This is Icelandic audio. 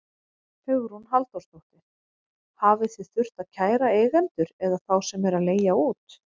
Hugrún Halldórsdóttir: Hafið þið þurft að kæra eigendur eða þá sem eru að leigja út?